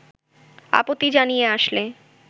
আপত্তি জানিয়ে আসলে